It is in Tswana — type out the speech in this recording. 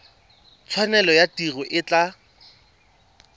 tshwanelo ya tiro e tla